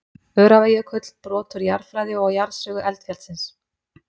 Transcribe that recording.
Öræfajökull, brot úr jarðfræði og jarðsögu eldfjallsins.